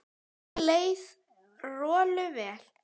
Nú leið Rolu vel.